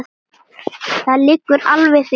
Það liggur alveg fyrir.